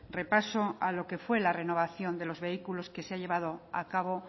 repaso a lo que fue la renovación de los vehículos que se ha llevado a cabo